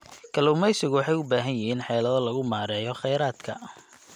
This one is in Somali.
Kalluumaysigu waxay u baahan yihiin xeelado lagu maareeyo kheyraadka.